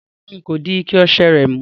Rárá, n kò di ike ose rè mú